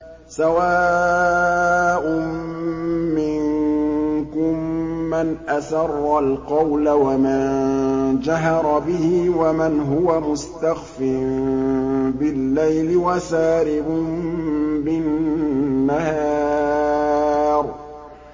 سَوَاءٌ مِّنكُم مَّنْ أَسَرَّ الْقَوْلَ وَمَن جَهَرَ بِهِ وَمَنْ هُوَ مُسْتَخْفٍ بِاللَّيْلِ وَسَارِبٌ بِالنَّهَارِ